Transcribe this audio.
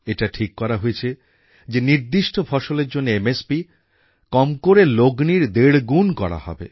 এটা ঠিক করা হয়েছে যে নির্দিষ্ট ফসলের জন্যে এমএসপি কম করে লগ্নির দেড় গুণ করা হবে